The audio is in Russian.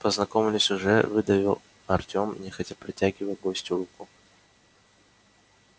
познакомились уже выдавил артем нехотя протягивая гостю руку